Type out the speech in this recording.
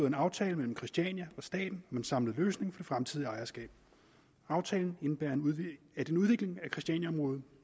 en aftale mellem christiania og staten med en samlet løsning for fremtidigt ejerskab aftalen indebærer at en udvikling af christianiaområdet